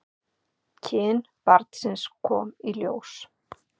Kyn barnsins komið í ljós